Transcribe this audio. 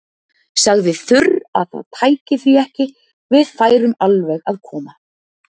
Sagði þurr að það tæki því ekki, við færum alveg að koma.